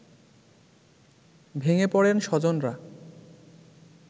ভেঙে পড়েন স্বজনরা